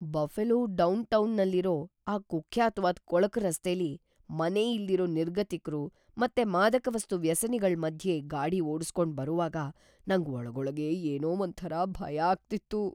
Buffalo ಡೌನ್‌ಟೌನಲ್ಲಿರೋ ಆ ಕುಖ್ಯಾತ್ವಾದ್‌ ಕೊಳಕು ರಸ್ತೆಲಿ ಮನೆ ಇಲ್ದಿರೋ ನಿರ್ಗತಿಕ್ರು ಮತ್ತೆ ಮಾದಕವಸ್ತು ವ್ಯಸನಿಗಳ್ ಮಧ್ಯೆ ಗಾಡಿ ಓಡುಸ್ಕೊಂಡ್‌ ಬರುವಾಗ ನಂಗ್‌ ಒಳಗೊಳಗೇ ಏನೋ ಒಂಥರ ಭಯ ಆಗ್ತಿತ್ತು.